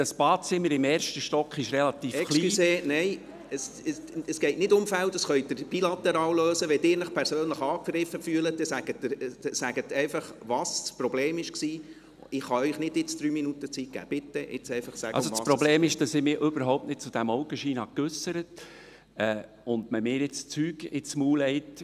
Das Badezimmer im ersten Stock ...... Das Problem ist, dass ich mich überhaupt nicht zu diesem Augenschein geäussert habe und man mir nun Dinge in den Mund legt: